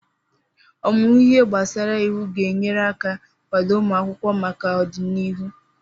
Ọmụmụ ihe gbasara iwu ga-enyere aka kwado ụmụ akwụkwọ maka ọdịnihu.